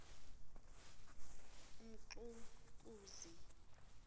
umxukuzi